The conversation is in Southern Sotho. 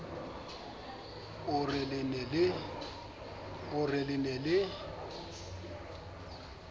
o re le ne le